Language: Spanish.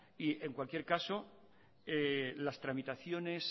y en cualquier caso las tramitaciones